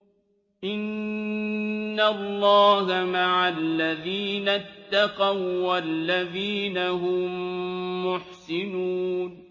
إِنَّ اللَّهَ مَعَ الَّذِينَ اتَّقَوا وَّالَّذِينَ هُم مُّحْسِنُونَ